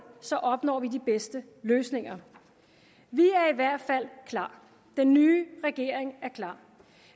så opnår de bedste løsninger vi er i hvert fald klar den nye regering er klar